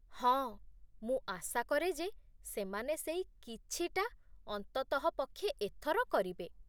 ହଁ, ମୁଁ ଆଶା କରେ ଯେ ସେମାନେ ସେଇ 'କିଛି'ଟା ଅନ୍ତତଃ ପକ୍ଷେ ଏଥର କରିବେ।